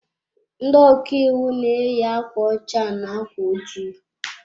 Ndị ọkàiwu na eyi akwa ọcha na ákwà ojii